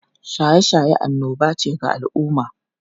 Shaye-shaye annoba ga al’umma